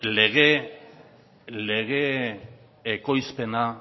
lege ekoizpena